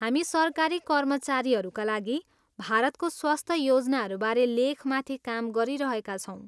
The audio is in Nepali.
हामी सरकारी कर्मचारीहरूका लागि भारतको स्वास्थ्य योजनाहरूबारे लेखमाथि काम गरिरहेका छौँ।